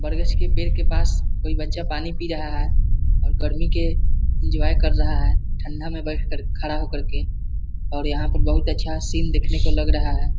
बरगछ पेड़ के पास कोई बच्चा पानी पी रहा है और गर्मी के इन्जॉय कर रहा है ठंडा मे बेठ कर खड़ा हो कर के और यहाँ पे बोहोत अच्छा सीन दिखने को लग रहा है|